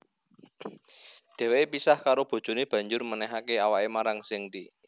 Dheweke pisah karo bojone banjur menehake awake marang Zhengde